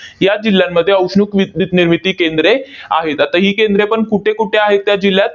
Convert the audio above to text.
या जिल्ह्यांमध्ये औष्णिक विद्युत निर्मिती केंद्रे आहेत. आता ही केंद्रेपण कुठे कुठे आहे त्या जिल्ह्यात?